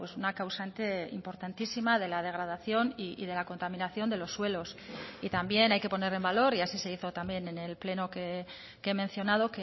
una causante importantísima de la degradación y de la contaminación de los suelos y también hay que poner en valor y así se hizo también en el pleno que he mencionado